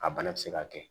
A bana bɛ se ka kɛ